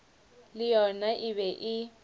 le yona e be e